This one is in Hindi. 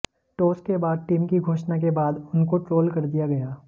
टास के बाद टीम की घोषणा के बाद उनको ट्रोल कर दिया गया